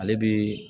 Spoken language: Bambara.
Ale bi